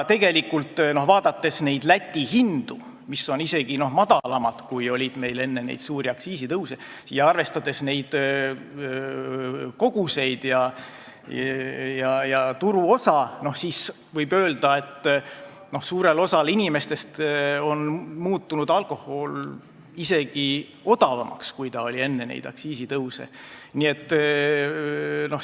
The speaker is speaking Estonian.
Tegelikult, vaadates Läti hindu, mis on isegi madalamad, kui olid meil enne neid aktsiisitõuse, arvestades koguseid ja turuosa, võib öelda, et suurele osale inimestest on alkohol muutunud isegi odavamaks, kui oli enne aktsiisitõuse.